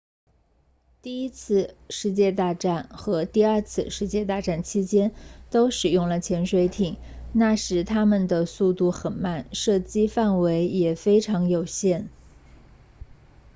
第一次世界大战和第二次世界大战期间都使用了潜水艇那时它们的速度很慢射击范围也非常有限